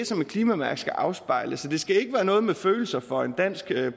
som et klimamærke skal afspejle så det skal ikke være noget med følelser for en dansk